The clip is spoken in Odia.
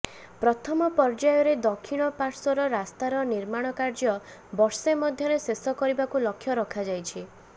ପ୍ରଥମ ପର୍ଯ୍ୟାୟରେ ଦକ୍ଷିଣ ପାଶ୍ୱର୍ ରାସ୍ତାର ନିର୍ମାଣ କାର୍ଯ୍ୟ ବର୍ଷେ ମଧ୍ୟରେ ଶେଷ କରିବାକୁ ଲକ୍ଷ ରଖାଯାଇଛି